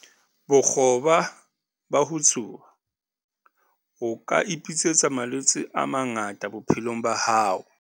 Bokgoba ba ho tsuba- O ka ipitsetsa malwetse a mangata bophelong ba hao.